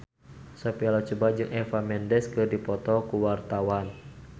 Sophia Latjuba jeung Eva Mendes keur dipoto ku wartawan